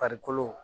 Farikolo